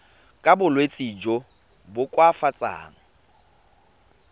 ka bolwetsi jo bo koafatsang